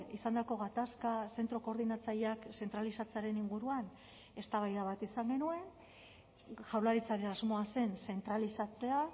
izandako gatazka zentro koordinatzaileak zentralizatzearen inguruan eztabaida bat izan genuen jaurlaritzaren asmoa zen zentralizatzea